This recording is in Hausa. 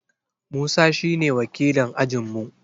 Musa shi ne wakilin ajin mu